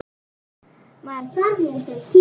Maður þarf nú sinn tíma.